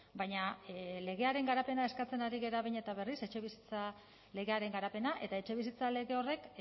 baina legearen garapena eskatzen ari gara behin eta berriz etxebizitza legearen garapena eta etxebizitza lege horrek